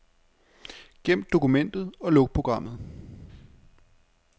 Gem dokumentet og luk programmet.